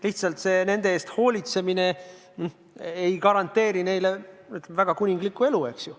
Lihtsalt see nende eest hoolitsemine ei garanteeri neile, ütleme, väga kuninglikku elu, eks ju.